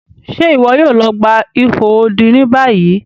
Ṣe iwọ yoo lọ gba iho odi ni bayi?